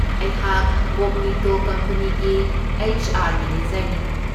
ꯑꯩꯍꯥꯛ ꯀꯣꯒꯅꯤꯇꯣ ꯀꯝꯄꯦꯅꯤꯒꯤ ꯑꯦꯆ.ꯑꯥꯔ. ꯃꯦꯅꯦꯖꯔꯅꯤ꯫